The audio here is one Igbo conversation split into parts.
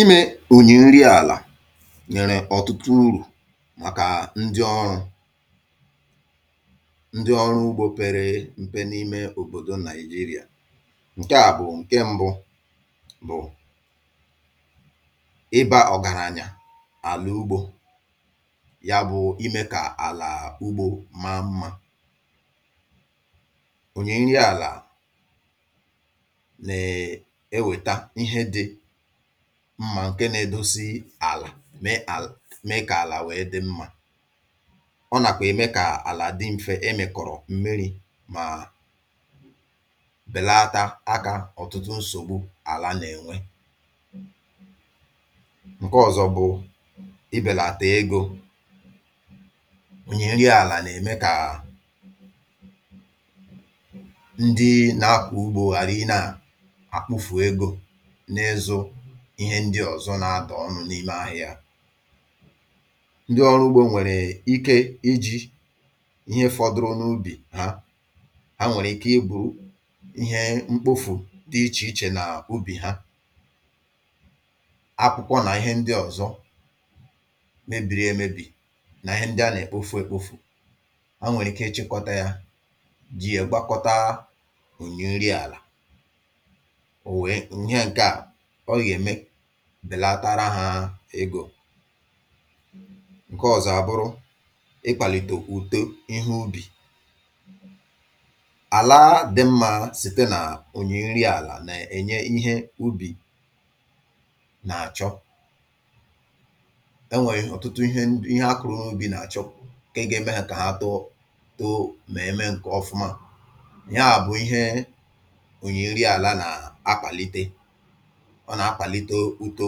Imė ònyè nri àlà nyèrè ọ̀tụtụ urù màkà ndị ọrụ̇ ndị ọrụ ugbȯ pere m̀pe n’ime òbòdò nàìjirià. Nke a mbụ bụ̀, ịbȧ ọ̀gàrà anyà àlà ugbȯ; ya bụ̇ imė kà àlà ugbȯ maa mmȧ. Ònyè nri àlà, na eweta ihe dị mmà nke nȧ-edosi àlà mee kà àlà nwèe dị mmȧ. Ọ nàkwà ème kà àlà dị m̀fe ị mị̀kọ̀rọ̀ m̀miri mà bèlata agȧ ọ̀tụtụ nsògbu àlà nà-ènwe. Nke ọzọ bụ̇ ibèlàtà egȯ unyèrì àlà nà-ème kà à ndị nȧ-akwụ̇ ugbȯ ghàrị̀ ị nà àkpụfù egȯ na izu, Ihe ndị ọ̀zọ na-adọ̀ ọnụ n’ime àhia. Ndị ọrụ ugbȯ nwèrè ike iji̇ ihe fọdụrụ n’ubì ha, ha nwèrè ike i bù ihe mkpofù dị ichè ichè na ubì ha. Akwụkwọ nà ihe ndị ọ̀zọ mebiri emebì nà ihe ndị a nà-èkpofu èkpofu̇. Ha nwèrè ike ịchịkọta ya jị ègbakọta ònyì nri àlà. O wee nye nke a, ọ ga eme belatara ha egȯ. Nkè ọ̀zọ abụrụ, ịkpàlìtò uto ihe ubì. Àla dị mmȧ site nà ònyè nri àlà nà-ènye ihe ubì nà-àchọ. E nwèrè ọ̀tụtụ ihe ihe akụ̇rụ̇ n’ubi̇ nà-àchọ, ǹkè igȧ eme hȧ kà ha too too mà eme ǹkè ọfụma. Yàà bụ̀ ihe ònyè nri àla nà-akpàlite. Ọ na-akpàlite ùto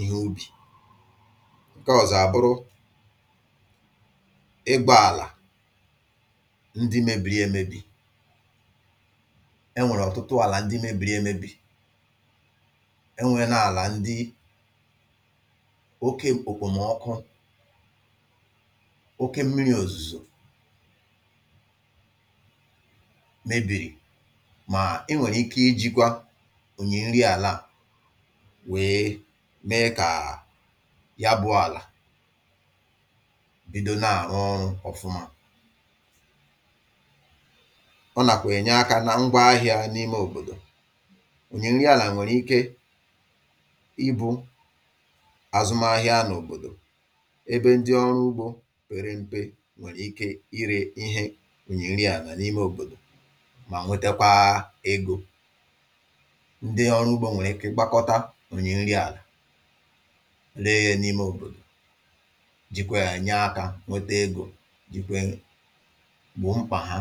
ihe ubì. Nkè ọ̀zọ àbụrụ, ịgbọàlà ndị mėbìrì emėbi̇. Enwèrè ọ̀tụtụ àlà ndị mėbìrì emėbi̇, enwè na-àlà ndị okė òkpòmọkụ, okė mmiri̇ òzùzò mebìrì. Mà e nwèrè ike ijikwa ònyì nri àlà wee mee kàà ya bụọ̇ àlà bido na-àhụ ọrụ ọfụma. Ọ nàkwà-ènye akȧ na ngwa ahịȧ n’ime òbòdò. Ònyè nri àlà nwèrè ike ibu̇ àzụm ahịa n’òbòdò, ebe ndị ọrụ ugbȯ pèrè m̀pe nwèrè ike irė ihe ònyè nri àlà n’ime òbòdò mà nwetekwa egȯ. Ndị ọrụ ugbo were ike gbakọta o yiri nri ala, ree ya n’ime òbòdò, jìkwà yà ànya aka nwẹtẹ egȯ jìkwà ya gbọ̀ mkpà ha.